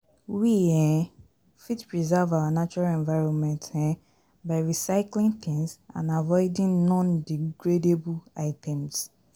We um fit preserve our natural environment um by recycling things and avoiding non-degradable items